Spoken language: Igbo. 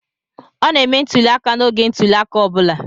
Ọ na-eme ntuli aka n'oge ntuli aka ọ bụla.